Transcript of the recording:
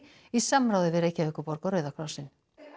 í samráði við Reykjavíkurborg og Rauða krossinn